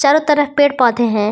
हर तरफ पेड़ पौधे हैं।